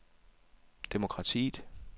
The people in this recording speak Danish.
demokratiet